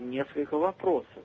несколько вопросов